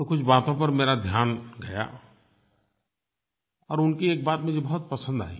तो कुछ बातों पर मेरा ध्यान गया और उनकी एक बात मुझे बहुत पसंद आई